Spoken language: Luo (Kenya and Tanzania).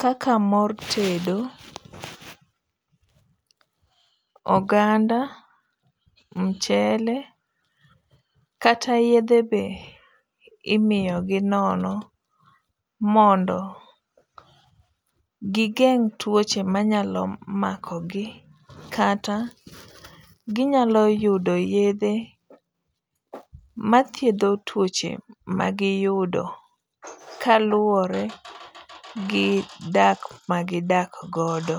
kaka mor tedo, oganda ,mchele ,kata yedhe be imiyogi nono mondo gigeng' tuoche manyalo makogi. Kata, ginyalo yudo yedhe mathiedho tuoche magiyudo kaluwore gi dak ma gidak godo.